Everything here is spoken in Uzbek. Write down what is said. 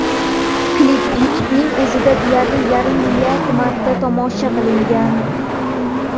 Klip YouTube’ning o‘zida deyarli yarim milliard marta tomosha qilingan.